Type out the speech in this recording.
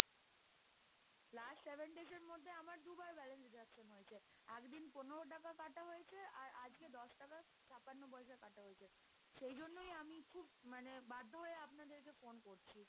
Last Seven Days এর মধ্যে আমার দুবার balance deduction হয়েছে, একদিন পনেরো টাকা কাটা হয়েছে, আর আজকে দশ টাকা ছাপ্পান্ন পয়সা কাটা হয়েছে, সেই জন্যই আমি খুব মানে বাধ্য হয়ে আপনাদেরকে ফোন করছি।